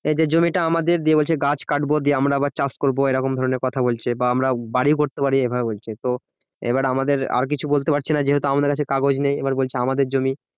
এই যে জমি টা আমাদের। দিয়ে বলছে গাছ কাটবো দিয়ে আমরা আবার চাষ করবো। এইরকম ধরণের কথা বলছে বা আমরা বাড়িও করতে পারি এইভাবে বলছে। তো এবার আমাদের আর কিছু বলতে পারছে না। যেহেতু আমাদের কাছে কাগজ নেই এবার বলছে আমাদের জমি।